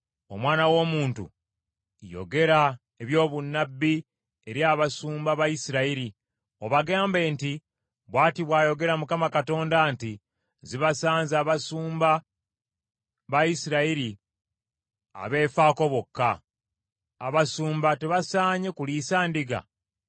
“Omwana w’omuntu, yogera ebyobunnabbi eri abasumba ba Isirayiri, obagambe nti, ‘Bw’ati bw’ayogera Mukama Katonda nti, Zibasanze abasumba ba Isirayiri abeefaako bokka. Abasumba tebasaanye kuliisa ndiga?